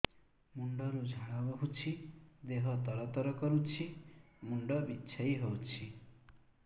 ମୁଣ୍ଡ ରୁ ଝାଳ ବହୁଛି ଦେହ ତର ତର କରୁଛି ମୁଣ୍ଡ ବିଞ୍ଛାଇ ହଉଛି